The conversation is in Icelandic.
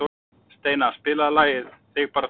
Steina, spilaðu lagið „Þig bara þig“.